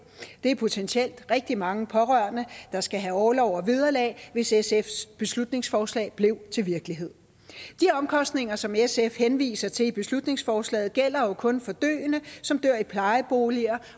det er potentielt rigtig mange pårørende der skal have orlov og vederlag hvis sfs beslutningsforslag blev til virkelighed de omkostninger som sf henviser til i beslutningsforslaget gælder jo kun for døende som dør i plejeboliger